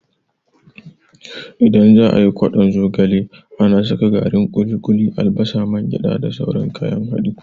Idan za'a yi ƙwadon zogale, ana saka garin ƙuli-ƙuli, albasa, man gyada da sauran kayan haɗi.